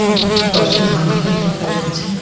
পুকুরটির পাশে ধান ক্ষেত দেখা যাচ্ছে।